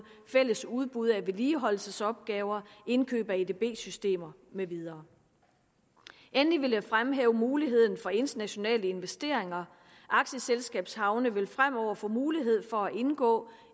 fælles udbud af vedligeholdelsesopgaver indkøb af edb systemer med videre endelig vil jeg fremhæve muligheden for internationale investeringer aktieselskabshavne vil fremover få mulighed for at indgå